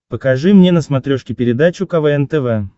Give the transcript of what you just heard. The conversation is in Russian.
покажи мне на смотрешке передачу квн тв